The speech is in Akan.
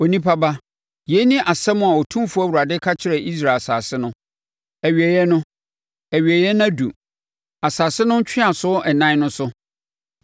“Onipa ba, yei ne asɛm a Otumfoɔ Awurade ka kyerɛ Israel asase no: “ ‘Awieeɛ no, awieeɛ no aduru asase no ntweaso ɛnan no so!